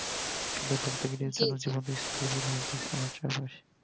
syllabus তৈরী হয়ে গেছে ঠিক আছে বেশ